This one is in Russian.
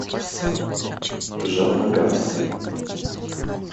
джамнагар